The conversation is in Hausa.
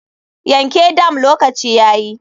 Yanke dam lokaci yayi.